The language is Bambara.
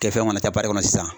Kɛfɛn mana kɛ kɔnɔ sisan